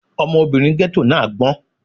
Ọmọbìnrin ghetto náà gbọ́n.